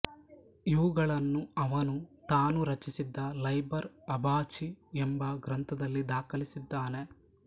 ಇವುಗಳನ್ನು ಅವನು ತಾನು ರಚಿಸಿದ ಲೈಬರ್ ಅಬಾಚಿ ಎಂಬ ಗ್ರಂಥದಲ್ಲಿ ದಾಖಲಿಸಿದ್ದಾನೆ